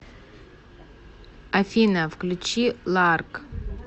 афина включи ларк